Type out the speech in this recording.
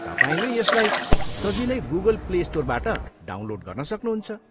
तपाईँले यसलाई सजिलै गुगल प्ले स्टोरबाट डाउनलोड गर्न सक्नुहुन्छ।